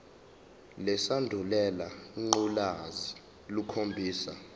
lesandulela ngculazi lukhombisa